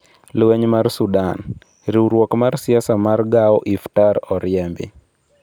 Lweny mar Sudan: Riwruok mar siasa mar Gao Iftar oriemb